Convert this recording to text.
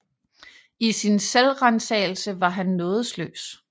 I sin selvransagelse var han nådesløs